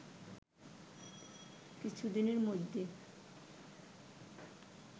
কিছু দিনের মধ্যেই